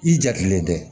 I jatelen tɛ